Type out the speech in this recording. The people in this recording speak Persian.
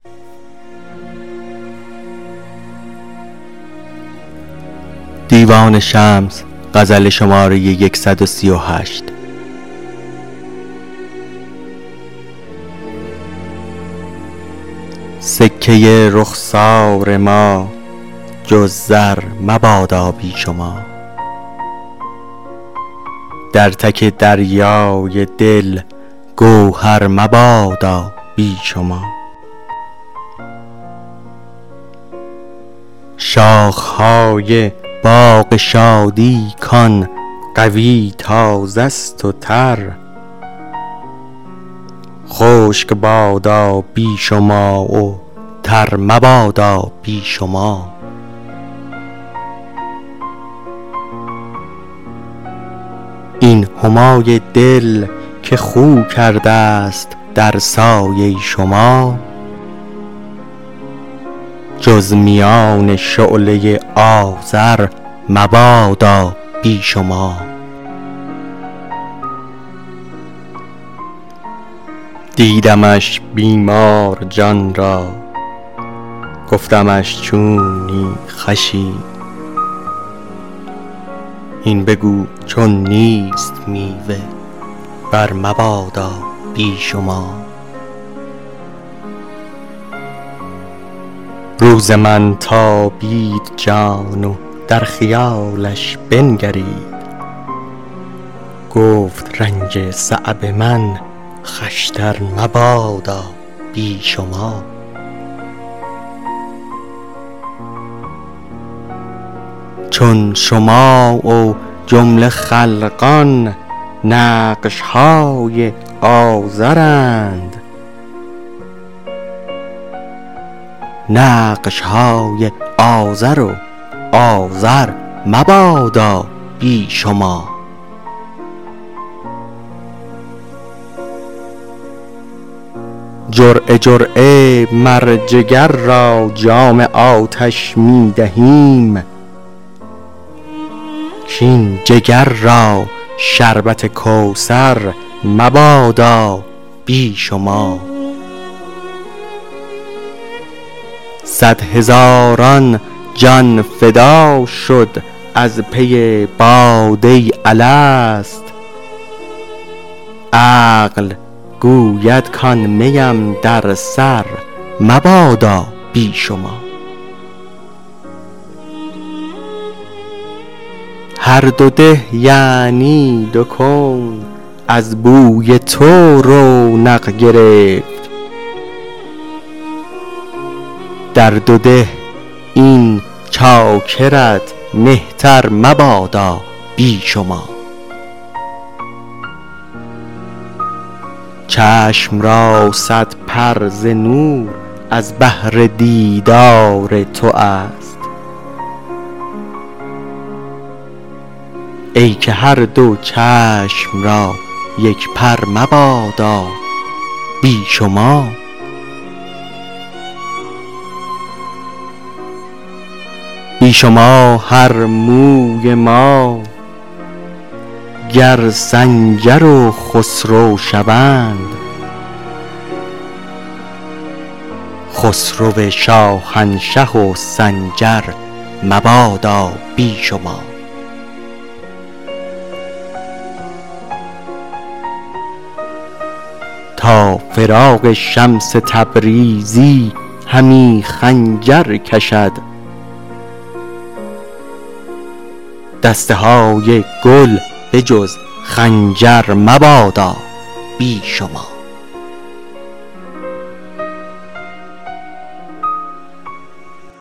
سکه رخسار ما جز زر مبادا بی شما در تک دریای دل گوهر مبادا بی شما شاخه های باغ شادی کان قوی تازه ست و تر خشک بادا بی شما و تر مبادا بی شما این همای دل که خو کردست در سایه شما جز میان شعله آذر مبادا بی شما دیدمش بیمار جان را گفتمش چونی خوشی هین بگو چون نیست میوه برمبادا بی شما روز من تابید جان و در خیالش بنگرید گفت رنج صعب من خوشتر مبادا بی شما چون شما و جمله خلقان نقش های آزرند نقش های آزر و آزر مبادا بی شما جرعه جرعه مر جگر را جام آتش می دهیم کاین جگر را شربت کوثر مبادا بی شما صد هزاران جان فدا شد از پی باده الست عقل گوید کان می ام در سر مبادا بی شما هر دو ده یعنی دو کون از بوی تو رونق گرفت در دو ده این چاکرت مهتر مبادا بی شما چشم را صد پر ز نور از بهر دیدار توست ای که هر دو چشم را یک پر مبادا بی شما بی شما هر موی ما گر سنجر و خسرو شوند خسرو شاهنشه و سنجر مبادا بی شما تا فراق شمس تبریزی همی خنجر کشد دست های گل به جز خنجر مبادا بی شما